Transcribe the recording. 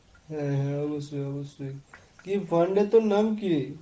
হ্যাঁ অবশ্যই অবশ্যই। কি fund এ তোর নাম কি?